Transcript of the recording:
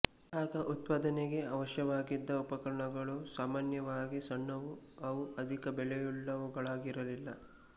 ಆಗ ಉತ್ಪಾದನೆಗೆ ಅವಶ್ಯವಾಗಿದ್ದ ಉಪಕರಣಗಳು ಸಾಮಾನ್ಯವಾಗಿ ಸಣ್ಣವು ಅವು ಅಧಿಕ ಬೆಲೆಯುವುಗಳಾಗಿರಲಿಲ್ಲ